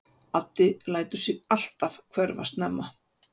Addi lætur sig alltaf hverfa snemma.